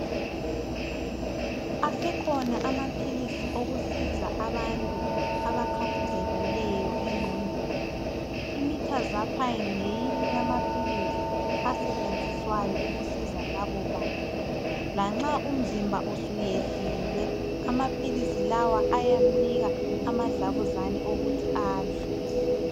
Asekhona amaphilisi okusiza abantu abakhathazekileyo engqondweni. IMithazaphayini ngeyinye yamaphilisi asetshenziswayo ukusiza labo bantu. Lanxa umzimba usuyehlile, amaphilisi lawa ayamnika amadlabuzane okuthi adle.